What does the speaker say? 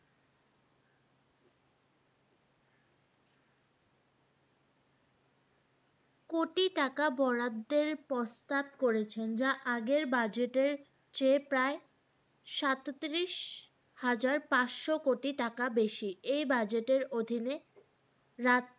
কোটি টাকা বরাদ্দের প্রস্তাব করেছেন যা আগের budget এর চে প্রায় সাঁইত্রিশ হাজার পাঁচশ কোটি টাকা বেশি, এই বাজেটের অধীনে রাস্তা বিদ্যুৎ